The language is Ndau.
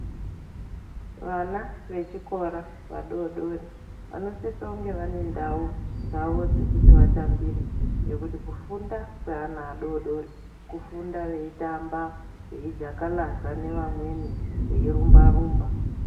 Vana vechikora vadodori vanosisa kunge vanendau dzavo dzekuti vatambire nekuti kufunda kweana adodori kufunda veitamba veijakalaza nevamweni veirumba rumba.